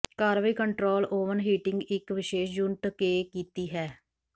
ਕਾਰਵਾਈ control oven heating ਇੱਕ ਵਿਸ਼ੇਸ਼ ਯੂਨਿਟ ਕੇ ਕੀਤੀ ਹੈ